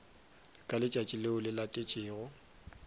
ka letšatši leo le latetšego